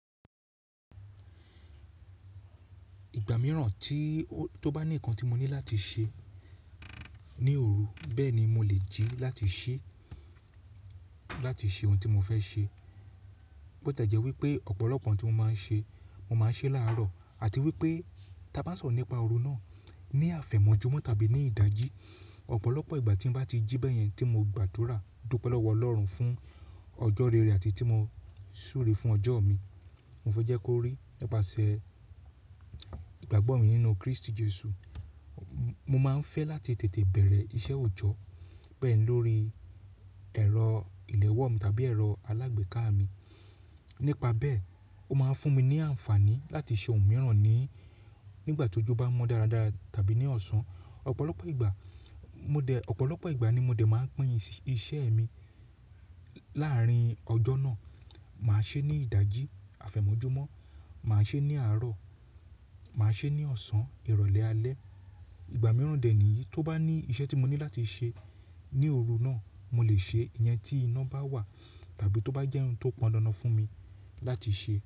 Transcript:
Ìgbà mìíràn tí, tó bá ní nǹkan tí mo ní láti ṣe ní òru bẹ́ẹ̀ ni mo lè jí láti ṣẹ́, láti ṣe ohun tí mo fẹ́ ṣe. Botẹ́ jẹ́ wípé ọ̀pọ̀lọpọ̀ ohun tí mo máa ń ṣe, mo máa ń ṣe láàrọ̀ àti wípé ta bá ń sọ̀rọ̀ nípa òru náà ní àfẹ̀mọ́júmọ́ tàbí ní ìdájí. Ọ̀pọ̀lọpọ̀ ìgbà tí n bá ti jí bẹ́yẹn tí mo gbàdúrà, dúpẹ́ lọ́wọ́ Ọlọ́run fún ọjọ́ rere àti tí mo súre fún ọjọ́ mi. Mo fẹ́ jẹ́ kí o rí, nípasẹ̀ ìgbàgbọ́ mi nínú Kristi Jesu, mo máa ń fẹ́ láti tètè bẹ̀rẹ̀ iṣẹ́ òjọ́ bẹ́ẹ̀ lórí ẹ̀rọ ìléwọ́ mi tàbí ẹ̀rọ alágbèéká mi. Nípa bẹ́ẹ̀, ó máa ń fún mi ní àǹfààní láti ṣe ohun mìíràn ní, nígbà tí ojú bá mọ dáradára tàbí ní ọ̀sán. Ọ̀pọ̀lọpọ̀ ìgbà, mo dẹ̀, ọ̀pọ̀lọpọ̀ ìgbà ni mo dẹ̀ máa ń pín iṣẹ́ mi láàrín ọjọ́ náà. Màá ṣe é ní ìdájí, àfẹ̀mọ́júmọ́, màá ṣe é ní àárọ̀, màá ṣe é ní ọ̀sán, ìrọ̀lẹ́ alẹ́. Ìgbà mìíràn dè níyìí, tó bá ní iṣẹ́ tí mo ní láti ṣe ní òru náà, mo lè ṣe é, ìyẹn tí iná bá wà tàbí tó bá jẹ́ ohun tó pọn dandan fún mi láti ṣe.